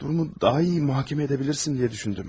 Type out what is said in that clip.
Durumu daha yaxşı mühakimə edə bilərsən deyə düşündüm.